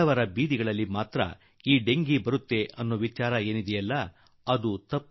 ಬಡವರು ವಾಸಿಸುವ ಜಾಗಗಳಲ್ಲೇ ಈ ರೋಗ ಬರುತ್ತದೆ ಎಂಬ ಯೋಚನೆ ಡೆಂಗಿ ವಿಚಾರದಲ್ಲಿ ಇಲ್ಲ